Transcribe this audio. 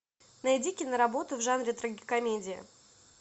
найди киноработу в жанре трагикомедия